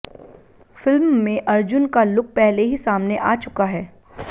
film में अर्जुन का look पहले ही सामने आ चुका है